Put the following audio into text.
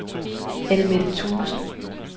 Anne-Mette Thuesen